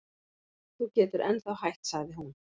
Þú getur ennþá hætt sagði hún.